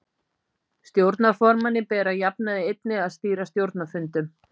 Stjórnarformanni ber að jafnaði einnig að stýra stjórnarfundum.